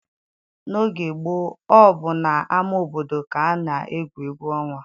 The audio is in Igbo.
N'oge gboo, ọ bụ n'ama obodo ka a na-egwu egwu ọnwa.